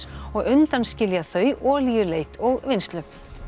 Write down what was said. og undanskilja þau olíuleit og vinnslu